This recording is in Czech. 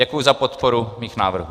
Děkuji za podporu mých návrhů.